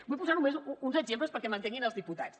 vull posar només uns exemples perquè m’entenguin els diputats